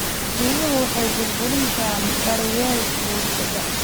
Biyuhu waxay burburin karaan daryeelka bulshada.